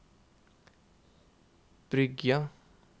Bryggja